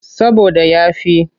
Saboda ya fi.